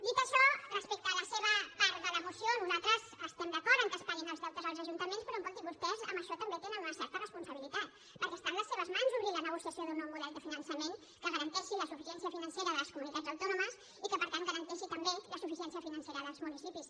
dit això respecte a la seva part de la moció nosaltres estem d’acord que es paguin els deutes als ajuntaments però escolti vostès en això també tenen una certa responsabilitat perquè està en les seves mans obrir la negociació d’un nou model de finançament que garanteixi la suficiència financera de les comunitats autònomes i que per tant garanteixi també la suficiència financera dels municipis